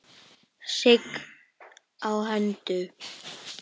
Sigg á höndum.